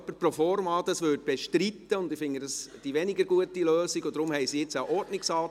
Ecole obligatoire et offres périscolaires Erhöhung der Produktegruppe 9.7.2 Volksschule um CHF